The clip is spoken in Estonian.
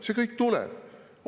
See kõik tuleb!